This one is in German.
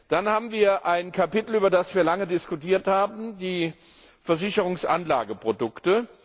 Dann haben wir ein Kapitel, über das wir lange diskutiert haben, die Versicherungsanlageprodukte.